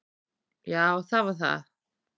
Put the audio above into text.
Já það var það.